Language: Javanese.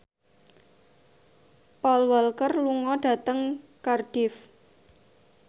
Paul Walker lunga dhateng Cardiff